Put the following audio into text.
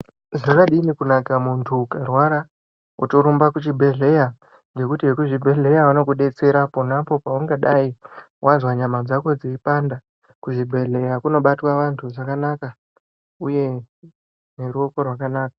Zvakadini kunaka muntu ukarwara woto rumba ku chibhedhleya ngekutu we ku zvibhedhleya vanoku detsera ponapo paunga dai wazwa nyama dzako dzeyi panda ku zvibhedhleya kuno batwa vantu zvakanaka uye ne ruoko rwakanaka.